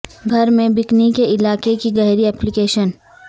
گھر میں بکنی کے علاقے کی گہری اپلی کیشن